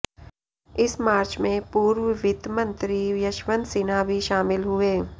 इस मार्च में पूर्व वित्त मंत्री यशवंत सिन्हा भी शामिल हुए